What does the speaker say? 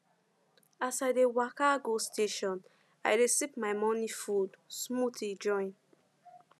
as i dey waka go station i dey sip my morning food smoothie join